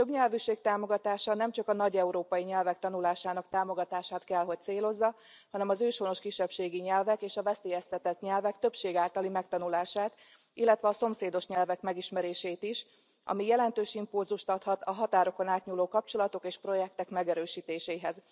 A többnyelvűség támogatása nemcsak a nagy európai nyelvek tanulásának támogatását kell hogy célozza, hanem az őshonos kisebbségi nyelvek és a veszélyeztetett nyelvek többség általi megtanulását, illetve a szomszédos nyelvek megismerését is, ami jelentős impulzust adhat a határokon átnyúló kapcsolatok és projektek megerősítéséhez.